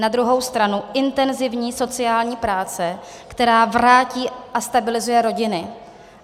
Na druhou stranu intenzivní sociální práce, která vrátí a stabilizuje rodiny.